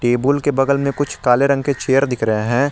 येबुल बगल मे कुछ काले रंग के चेयर दिख रहे है।